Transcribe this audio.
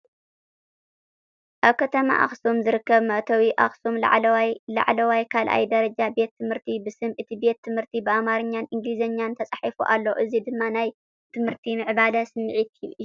ኣብ ከተማ ኣክሱም ዝርከብ መእተዊ (ኣክሱም ላዕለዋይ ካልኣይ ደረጃ ቤት ትምህርቲ) ብስም እቲ ቤት ትምህርቲ ብኣምሓርኛን እንግሊዝኛን ተጻሒፉ ኣሎ። እዚ ድማ ናይ ትምህርትን ምዕባለን ስምዒት ይህብ።